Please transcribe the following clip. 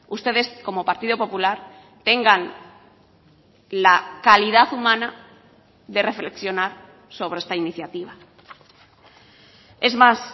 ustedes como partido popular tengan la calidad humana de reflexionar sobre esta iniciativa es más